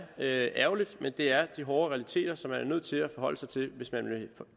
ærgerligt men det er de hårde realiteter som man er nødt til at forholde sig til hvis man vil